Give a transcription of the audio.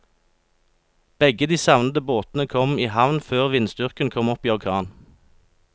Begge de savnede båtene kom i havn før vindstyrken kom opp i orkan.